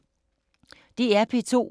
DR P2